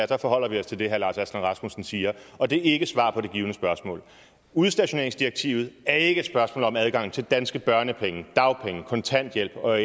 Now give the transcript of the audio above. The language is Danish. da forholder vi os til det herre lars aslan rasmussen siger og det er ikke svar på det givne spørgsmål udstationeringsdirektivet er ikke et spørgsmål om adgang til danske børnepenge dagpenge kontanthjælp og